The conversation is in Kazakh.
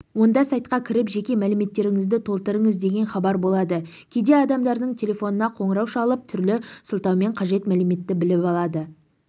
онда сайтқа кіріп жеке мәліметтеріңізді толтырыңыз деген хабар болады кейде адамдардың телефонына қоңырау шалып түрлі сылтаумен қажет мәліметті біліп алады